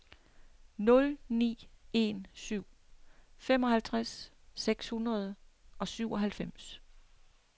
nul ni en syv femoghalvtreds seks hundrede og syvoghalvfems